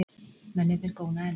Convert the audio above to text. Mennirnir góna enn.